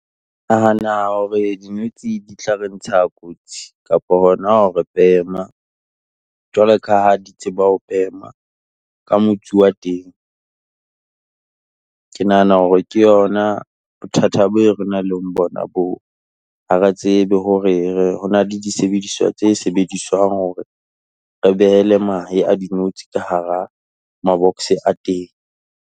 Ke nahana hore dinotshi di tla re ntsha kotsi kapo hona re bema, jwalo ka ha di tseba ho bema ka motsu wa teng. Ke nahana hore ke yona bothata be re nanh le bona boo. Ha re tsebe hore re ho na le disebediswa tse sebediswang hore re behele make a dinotshi ka hara ma-box a teng.